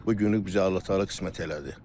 Bu günü bizə Allah təala qismət elədi.